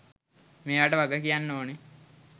මේවට වගකියන්න ඕන.